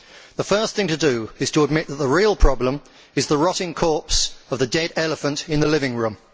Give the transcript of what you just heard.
The first thing to do is to admit that the real problem is the rotting corpse of the dead elephant in the living room.